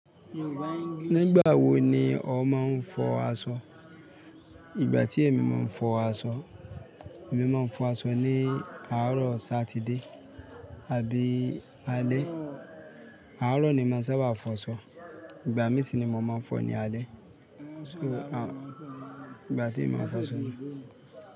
Nígbà wo ni o máa ń fọ aṣọ? Ìgbà tí èmi máa ń fọ aṣọ, èmi máa ń fọ aṣọ ní àárọ̀ Sátidé àbí Alẹ́. Àárọ̀ ni mo sábà fọ aṣọ, ìgbà mí sì ni mo máa ń fọ ní Alẹ́. So, ìgbà tí mo máa ń fọ aṣọ ni.